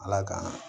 Ala ka